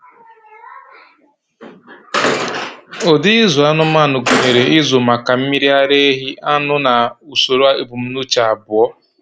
Ụdị ịzụ anụmanụ gụnyere ịzụ maka mmiri ara ehi, anụ, na usoro ebumnuche abụọ.